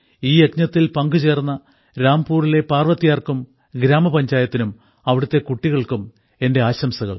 ഈ യജ്ഞത്തിൽ പങ്കുചേർന്ന രാംപുരിലെ പാർവത്ത്യാർക്കും ഗ്രാമപഞ്ചായത്തിനും അവിടത്തെ കുട്ടികൾക്കും എന്റെ ആശംസകൾ